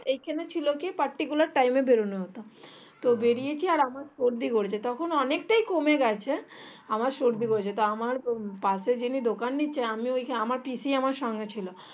এখানে ছিল কি particular time এ বেরোনো হতো তো বেড়িয়েছি আমার সর্দি হয়েছে তখন অনেকটাই কমে গেছে আমার সর্দি হয়েছে তো আমার পাশে যিনি দোকান নিচে আমার পিসি আমার সঙ্গে ছিল